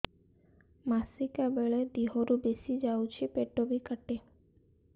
ମାସିକା ବେଳେ ଦିହରୁ ବେଶି ଯାଉଛି ପେଟ ବି କାଟେ